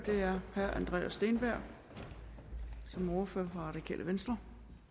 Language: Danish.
er herre andreas steenberg som er ordfører for radikale venstre